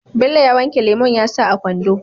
Bello ya wanke lemon yasa a kwando